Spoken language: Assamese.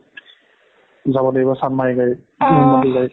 যাব লাগিব চান্দমাৰিৰ গাড়ীত